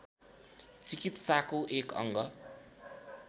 चिकित्साको एक अङ्ग